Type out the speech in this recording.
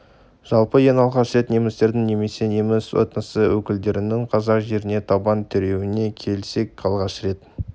жалпы ең алғаш рет немістердің немесе неміс этносы өкілдерінің қазақ жеріне табан тіреуіне келсек алғаш рет